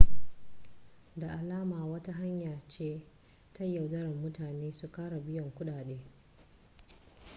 da alama wata hanya ce ta yaudarar mutane su kara biyan kudade